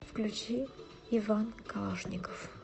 включи иван калашников